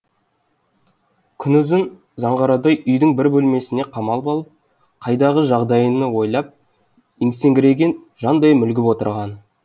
күнұзын заңғарадай үйдің бір бөлмесіне қамалып алып қайдағы жайдағыны ойлап есеңгіреген жандай мүлгіп отырғаны